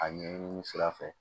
A ɲɛɲini sira fɛ